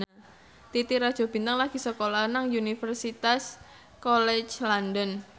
Titi Rajo Bintang lagi sekolah nang Universitas College London